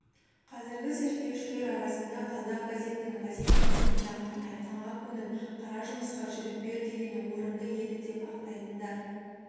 қазіргі зерттеушілер арасында қазақ газетінің позициясын яғни айтқанға көніп қара жұмысқа жігіт бер дегені орынды еді деп ақтайтындар